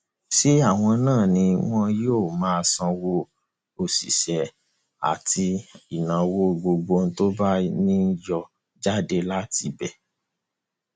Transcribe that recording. ṣé àwọn náà ni wọn yóò máa sanwó àwọn òṣìṣẹ àti ìnáwó gbogbo tó bá ní yóò jáde láti ibẹ